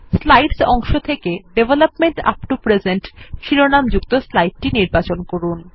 slides অংশ থেকে development up to the present শিরোনামযুক্ত স্লাইডটি নির্বাচন করুন